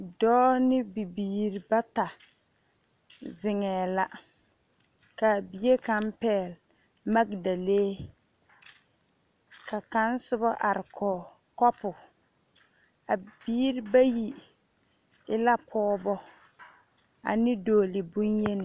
Dɔɔ ne bebiiri bata zinŋɛɛ la ka bie kaŋ pɛɛl maŋdalee ka kaŋ soba are gɔɔ kobo a biiri ba yi e la pɔŋebo ane dɔɔlee boŋ yeŋni